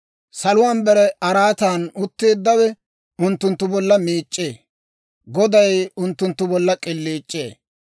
Saluwaan bare araatan utteeddawe unttunttu bolla miic'c'ee; Goday unttunttu bolla k'iliic'ee.